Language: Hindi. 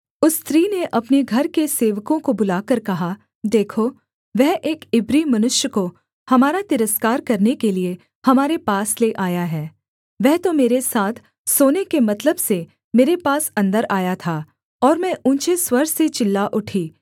उस स्त्री ने अपने घर के सेवकों को बुलाकर कहा देखो वह एक इब्री मनुष्य को हमारा तिरस्कार करने के लिये हमारे पास ले आया है वह तो मेरे साथ सोने के मतलब से मेरे पास अन्दर आया था और मैं ऊँचे स्वर से चिल्ला उठी